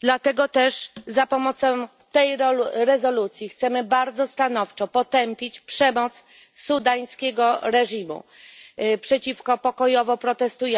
Dlatego też za pomocą tej rezolucji chcemy bardzo stanowczo potępić przemoc sudańskiego reżimu przeciwko osobom biorącym udział w pokojowych protestach,